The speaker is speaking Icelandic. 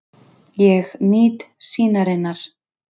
Ég nýt sýnarinnar.